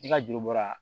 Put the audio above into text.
I ka juru bɔra